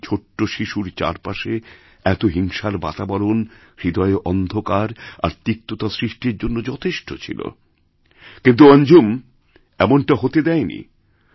একটি ছোট শিশুর চারপাশে এত হিংসার বাতাবরণ হৃদয়ে অন্ধকার আর তিক্ততাসৃষ্টির জন্য যথেষ্ট ছিল কিন্তু অঞ্জুম এমনটা হতে দেয় নি